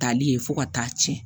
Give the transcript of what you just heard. Tali ye fo ka taa tiɲɛ